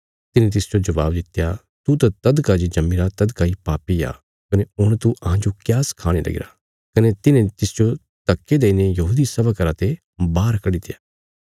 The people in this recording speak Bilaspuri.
तिन्हें तिसजो जबाब दित्या तू त तदका जे जम्मीरा तदका इ पापी आ कने हुण तू अहांजो क्या सखाणे लगीरा कने तिन्हे तिसजो धक्के देईने यहूदी सभा घरा ते बाहर कड्डित्या